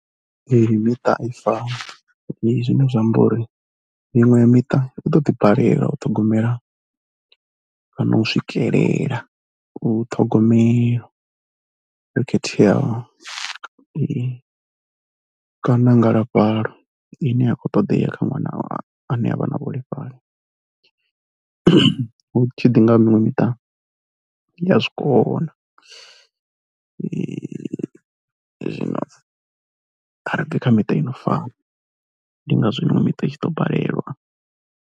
Ee miṱa a i fani, zwine zwa amba uri miṅwe ya miṱa u ḓo ḓi balelwa u ṱhogomela kana u swikelela u ṱhogomelo yo khetheaho kana ngalafhano ine ya kho ṱoḓea kha ṅwana ane a vha na vhuholefhali. Hu tshi ḓi nga miṅwe miṱa i ya zwi kona, zwino a ri bvi kha miṱa ino fana ndi ngazwo miṅwe miṱa i tshi ḓo balelwa.